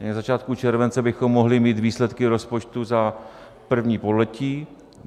Na začátku července bychom mohli mít výsledky rozpočtu za první pololetí.